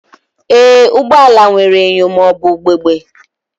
Ee, ụgbọ ala nwere enyo ma ọ bụ ugegbe